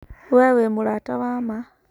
We wĩ mũrata wama.